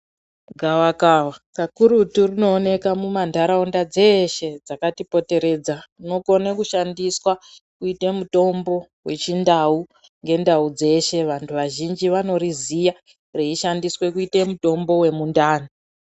Gavakava kakurutu rinoonekwa mundau dzeshe dzakatipomberedza rinokone kushandiswa kuite mutombo wechindau ngendau dzeshe vantu vazhinji vanoriziya reshansiswe kuitwe mutombo wemundani.